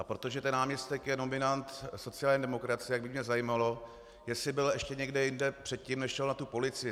A protože ten náměstek je nominant sociální demokracie, tak by mě zajímalo, jestli byl ještě někde jinde předtím, než šel na tu policii.